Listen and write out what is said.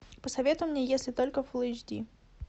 посоветуй мне если только фул эйч ди